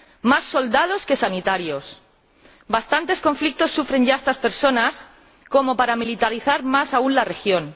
Más soldados que sanitarios. Bastantes conflictos sufren ya estas personas como para militarizar más aún la región.